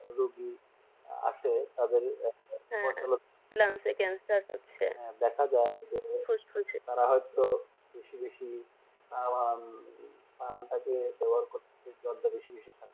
রোগী আছে তাদের হ্যাঁ ল্যান্স ক্যান্সার হচ্ছে হ্যাঁ দেখা যায় ফুসফুস যে তারা হয়তো বেশি বেশিতারা আন্দাজে ব্যবহার করছে বেশি